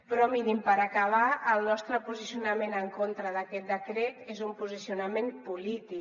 però mirin per acabar el nostre posicionament en contra d’aquest decret és un posicionament polític